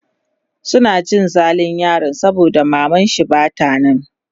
yana cin zalin yaron saboda mamanshi Bata nan